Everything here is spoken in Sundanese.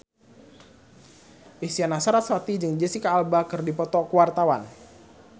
Isyana Sarasvati jeung Jesicca Alba keur dipoto ku wartawan